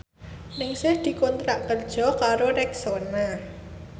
Ningsih dikontrak kerja karo Rexona